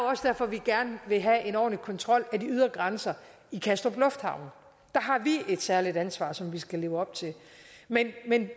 også derfor vi gerne vil have en ordentlig kontrol af de ydre grænser i kastrup lufthavn der har vi et særligt ansvar som vi skal leve op til men